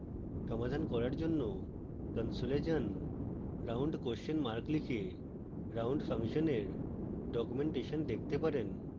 সমাধান করার জন্য console যান